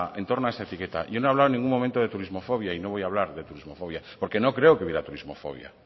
etiqueta yo no he hablado en ningún momento de turismofobia y no voy a hablar de turismofobia porque no creo que hubiera turismofobia